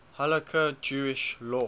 halakha jewish law